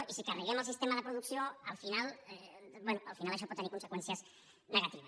i si carreguem el sistema de producció al final bé això pot tenir conseqüències negatives